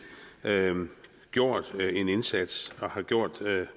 gjort en indsats og har gjort